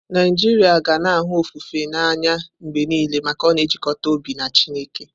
Naijiria ga na-ahụ ofufe n'anya mgbe niile maka ọ na-ejikọta obi na Chineke.